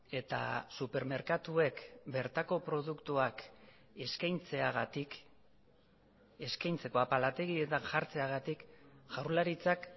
eta supermerkatuek bertako produktuak eskaintzeagatik eskaintzeko apalategietan jartzeagatik jaurlaritzak